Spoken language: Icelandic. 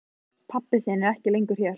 Pabbi þinn er ekki lengur hér.